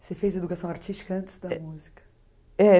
Você fez educação artística antes da música? É